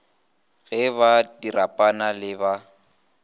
ge ba diripana le ba